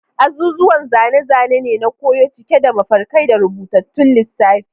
Azuzuwan zane-zane ne na koyo, cike da mafarkai da rubutattun lissafi.